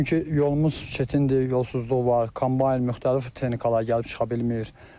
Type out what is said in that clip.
Çünki yolumuz çətindir, yolsuzluq var, kombayn müxtəlif texnikalar gəlib çıxa bilmir.